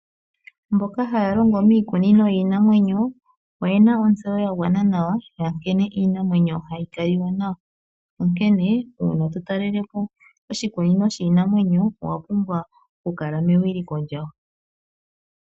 Mboka haya longo miikunino yiinamwenyo oye na ontseyo ya gwana nawa ya nkene iinamwenyo hayi kaliwa nayo uuna to talelepo oshikunino shiinamwenyo owa pumbwa okukala mewiliko lyawo.